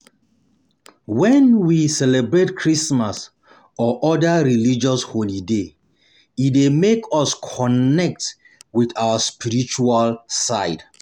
When we celebrate Christmas or oda religious holoday e dey make us connect with our spiritual side